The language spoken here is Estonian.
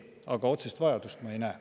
Aga otsest vajadust ma ei näe.